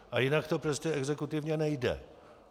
A jinak to prostě exekutivně nejde.